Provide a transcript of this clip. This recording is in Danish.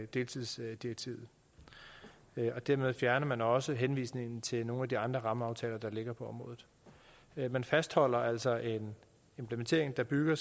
deltidsdirektivet dermed fjerner man også henvisningen til nogle af de andre rammeaftaler der ligger på området man fastholder altså en implementering der bygger